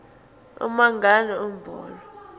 uma ngabe umholo